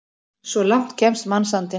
Svo langt kemst mannsandinn!